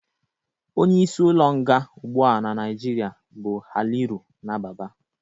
Onye isi ụlọ nga ụgbụa n'Naijiria bụ Haliru Nababa